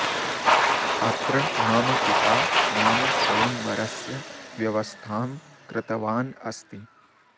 अत्र मम पिता मम स्वयंवरस्य व्यवस्थां कृतवान् अस्ति